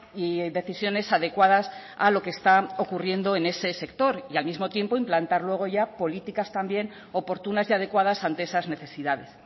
y decisiones adecuadas a lo que está ocurriendo en ese sector y al mismo tiempo implantar luego ya políticas también oportunas y adecuadas ante esas necesidades